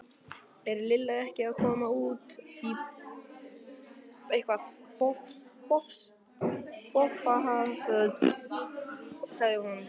Er Lilla ekki að koma út í bófahasar? spurði hún.